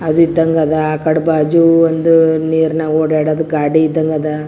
ಅದು ಇದಂಗ ಅದ್ ಆಕಡೆ ಬಾಜು ಒಂದು ನೀರನ್ ಓಡಾಡೋ ಗಾಡಿ ಇದಂಗ್ ಅದ್ .